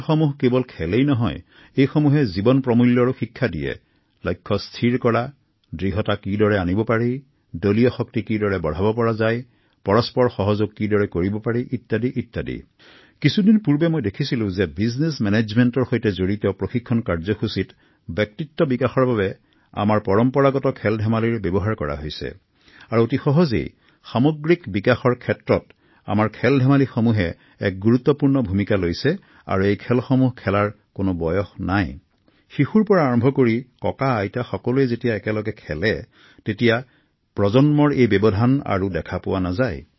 মই শেহতীয়াকৈ বিজনেছ মেনেজমেণ্টৰ প্ৰশিক্ষণ কাৰ্যসূচীত কৰ্মচাৰীৰ সামগ্ৰিক ব্যক্তিত্ব বিকাশৰ বাবে আমাৰ পৰম্পৰাগত খেল ব্যৱহাৰ কৰা দেখিবলৈ পাইছিলো